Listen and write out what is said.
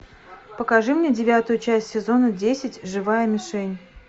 покажи мне девятую часть сезона десять живая мишень